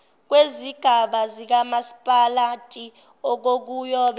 kwezigaba zikamasipalati okuyobe